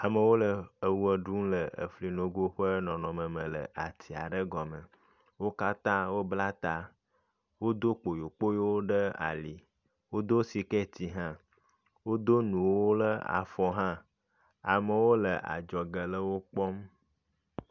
Amewo le ewɔ ɖum le efli nogo ƒe nɔnɔme me le ati aɖe gɔme. Wo katã wobla ta, wodo kpoyokpoyo ɖe ali, wodo sketi hã, wodo nuwo le afɔ hã. Amewo le adzɔge le wo kpɔm.